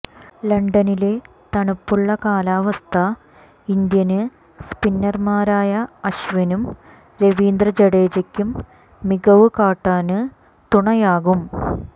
ലണ്ടനിലെ തണുപ്പുള്ള കാലാവസ്ഥ ഇന്ത്യന് സ്പിന്നര്മാരായ അശ്വിനും രവീന്ദ്ര ജഡേജയ്ക്കും മികവ് കാട്ടാന് തുണയാകും